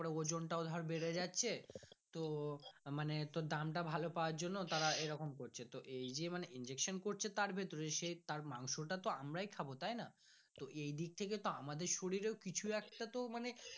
ওর ওজন হটাও ধর বেড়ে যাচ্ছে তো মানে দামটা ভালো পাবার জন্য তার এরকম করছে তো এই যে মানে injection করছে তার ভেতরে সে তার মাংস টা তো আমরাই খাবো তাই না তো এই দিক থেকে তো আমাদের শরীর এ কিছুব একটা তো মনে।